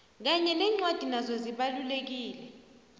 kanye nencwadi nazo zibalulekile